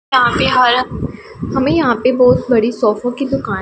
हमें यहां पे बहोत बड़ी सोफो की दुकान--